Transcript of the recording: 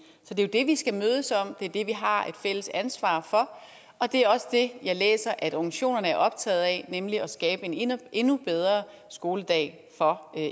så det er jo det vi skal mødes om det er det vi har et fælles ansvar for og det er også det jeg læser at organisationerne er optaget af nemlig at skabe en endnu endnu bedre skoledag for